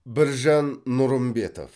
біржан нұрымбетов